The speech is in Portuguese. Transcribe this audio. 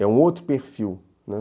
É um outro perfil, né.